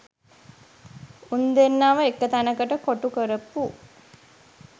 උන් දෙන්නව එක තැනකට කොටු කරපු